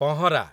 ପହଁରା